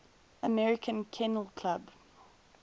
american kennel club